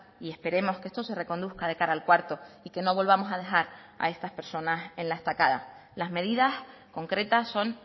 y esperemos que esto se reconduzca de cara al cuarto y que no volvamos a dejar a estas personas en la estacada las medidas concretas son